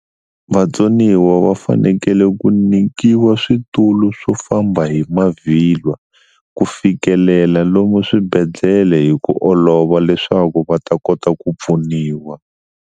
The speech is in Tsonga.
Vatsoniwa va fanekele ku nyikiwa switulu swo famba hi mavhilwa ku fikelela lomu swibedhlele hi ku olova leswaku va ta kota ku pfuniwa.